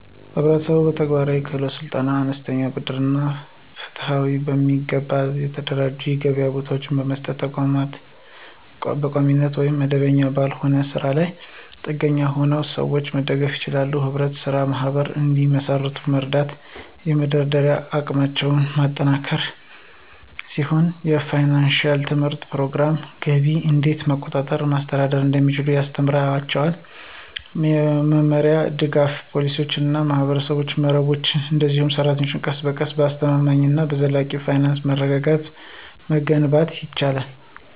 ህብረተሰቡ በተግባራዊ የክህሎት ስልጠና፣ አነስተኛ ብድር እና ፍትሃዊ፣ በሚገባ የተደራጁ የገበያ ቦታዎችን በመስጠት በቋሚነት ወይም መደበኛ ባልሆነ ስራ ላይ ጥገኛ የሆኑትን ሰዎች መደገፍ ይችላል። ህብረት ስራ ማህበራት እንዲመሰርቱ መርዳት የመደራደሪያ አቅማቸውን የሚያጠናክር ሲሆን የፋይናንሺያል ትምህርት ፕሮግራሞች ገቢን እንዴት መቆጠብ እና ማስተዳደር እንደሚችሉ ያስተምራቸዋል። በመመሪያ፣ ደጋፊ ፖሊሲዎች እና የማህበረሰብ መረቦች፣ እነዚህ ሰራተኞች ቀስ በቀስ አስተማማኝ እና ዘላቂ የፋይናንስ መረጋጋትን መገንባት ይችላሉ።